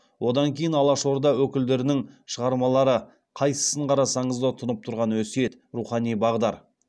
одан кейін алаш орда өкілдерінің шығармалары қайсысын қарасаңызда тұнып тұрған өсиет рухани бағдар